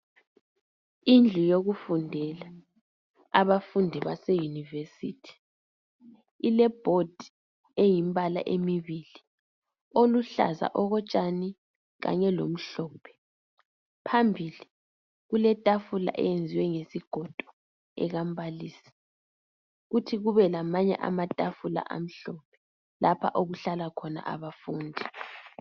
Indlu yokufundela. Abafundi base university. Ilebhodi, eyimibala emibili, oluhlaza okotshani kanye lomhlophe. Phambili kuqlaetafula eyenziwe ngesigodo ekambalisi. Kuthi kube lamanye amatafula amhlophe, lapho okuhlala khona abafundi.